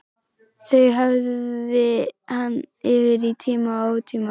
Þau hafði hann yfir í tíma og ótíma.